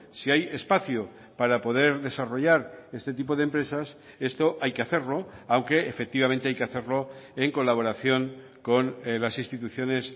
si hay espacio para poder desarrollar este tipo de empresas esto hay que hacerlo aunque efectivamente hay que hacerlo en colaboración con las instituciones